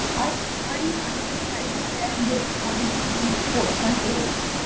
ਅੜੀਆਈ ਤੇ ਸਾਹਿਬਾਂ ਰੈਹਣ ਦੇ ਅਗਾਨਹਾਂ ਦੀ ਭੋਛਣ ਢੇਰ